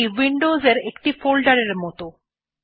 এইটি Windows এর একটি folder এর মতন